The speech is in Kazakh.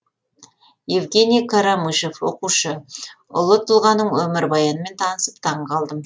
евгений карамышев оқушы ұлы тұлғаның өмірбаянымен танысып таңғалдым